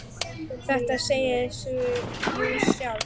Þetta segir sig jú sjálft!